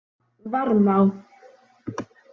Varmá